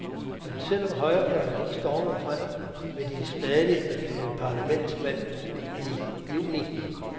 Men selv om højrefløjen ikke stormede frem, vil de stadig have parlamentsvalg til juni.